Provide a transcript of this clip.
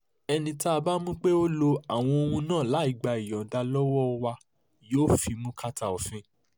ẹni tá a bá mú pé ó lo àwọn ohun náà láì gba ìyọ̀ǹda lọ́wọ́ wa yóò fimú kàtà òfin